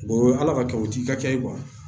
ala ka kɛ o t'i ka kɛ ye